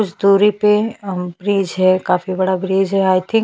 कुछ दुरी पे अम ब्रिज है काफी बड़ा ब्रिज है आई थिंक --